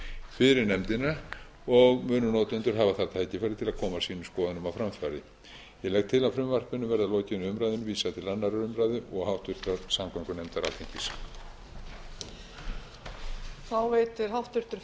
fyrir nefndina og munu notendur hafa það tækifæri til að koma sínum skoðunum á framfæri ég legg til að frumvarpinu verði að lokinni umræðu vísað til annarrar umræðu og háttvirtrar samgöngunefndar alþingis